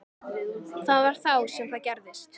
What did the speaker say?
Það var þá sem það gerðist.